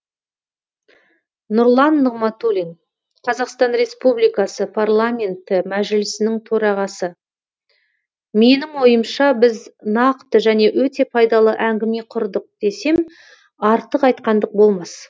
нұрлан нығматулин қазақстан республикасы парламенті мәжілісінің төрағасы менің ойымша біз нақты және өте пайдалы әңгіме құрдық десем артық айтқандық болмас